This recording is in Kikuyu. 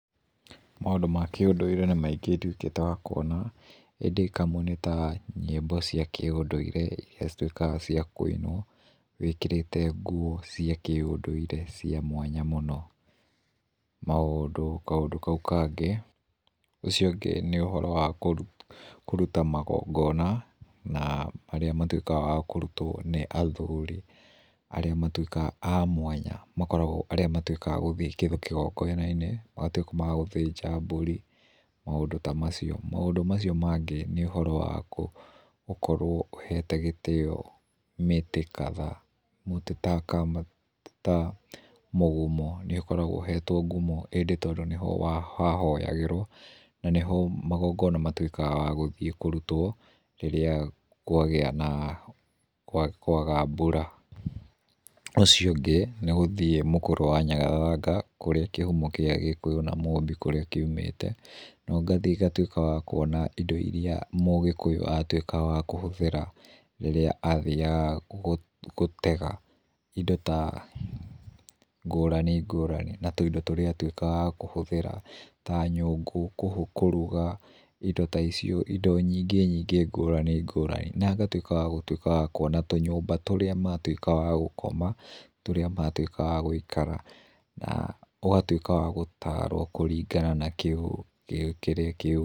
Maũndũ ma kĩũndũire nĩ maingĩ nduĩkĩte wa kuona ĩndĩ kamwe nĩ ta nyĩmbo cia kĩũndũire iria cituĩkaga ciakũinwo, wĩkĩrĩte nguo cia kĩũndũire cia mwanya mũno, kaũndũ kau kangĩ ũcio ũngĩ nĩ ũhoro wa kũruta magongona na marĩa matuĩkaga ma kũrutwo nĩ athuri arĩa matuĩkaga a mwanya na arĩa matuĩkaga a gũthie kĩgongonaninĩ magatuĩka magũthĩnja mbũri maũndũ ta macio, maũndũ macio mangĩ nĩ ũhoro wa gũkorwo ũhete gĩtĩo mĩtĩ kadhaa mĩtĩ ta mũgumo nĩũkoragwo ũhetwo ngumo ĩndĩ tondũ nĩho hahoyagĩrwo na nĩho magongona matuĩkaga ma gũthie kũrutwo rĩrĩa kwaga mbura. Ũcio ũngĩ nĩgũthie Mũkũrwe wa Nyagathanga kũrĩa kĩhumo kĩa Gĩkũyũ na Mũmbi kũrĩa kiumĩte, na ngathie ngatuĩka wa kuona indo iria mũgĩkũyũ atuĩkaga wa kũhũthĩra rĩrĩa athiaga gũtega indo ngũrani ngũrani na tũindo tũria atuĩkaga wa kũhũthĩra ta nyũngũ kũruga, indo ta icio indo ingĩ nyingi ngũrani ngũrani na ngatuĩka wa gũtuĩka kuona tũnyũmba tũrĩa matuĩkaga a gũkoma tũrĩa matuĩkaga a gũikara na ũgatuĩka wagũtarwo kũringana na kĩrĩra kĩu.